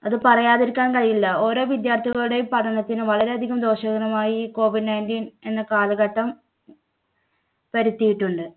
അത് പറയാതിരിക്കാൻ കഴിയില്ല. ഓരോ വിദ്യാർത്ഥികളുടെയും പഠനത്തിന് വളരെയധികം ദോഷകരമായി COVID nineteen എന്ന കാലഘട്ടം വരുത്തിയിട്ടുണ്ട്.